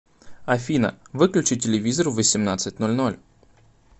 афина выключи телевизор в восемнадцать ноль ноль